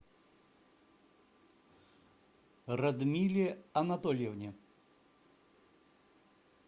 радмиле анатольевне